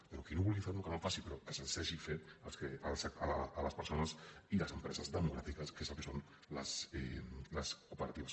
però qui no vulgui fer ne que no en faci però que se’ns deixi fer a les persones i a les empreses democràtiques que és el que són les cooperatives